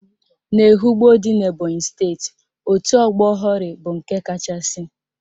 N'Ehugbo dị n'Ebonyi steeti, otu ọgbọ Hori bụ nke kachasị